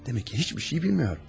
Demək ki, heç bir şeyi bilmir.